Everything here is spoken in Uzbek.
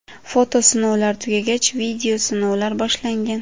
Foto sinovlar tugagach, video sinovlar boshlangan.